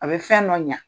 A bɛ fɛn dɔ ɲa